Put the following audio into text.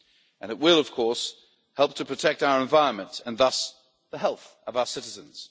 and it will of course help to protect our environment and thus the health of our citizens.